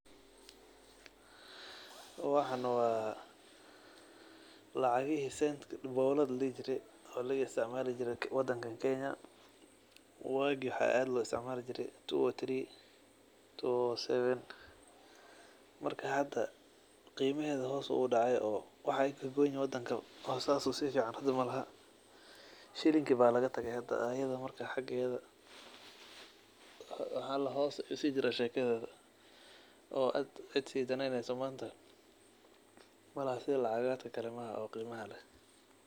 Waxan wa lacagihi bowladaha ahaa ee wadanka kenya lagaitsitcmali jire. Waxa aad loisticmali jire wagi two thousand three marka hada qimaheda hoos ayu udacay oo waxa ey kagoyni wadanka oo sidas usifican malaha shilinka aya lagatage hada marka ayada xageda hoos ayu sijira oo cid si qimeneyso malaha manta sida lagacaha kale ee qimaha leh.